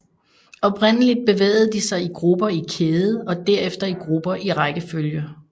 Oprindeligt bevægede de sig i grupper i kæde og derefter i grupper i rækkefølge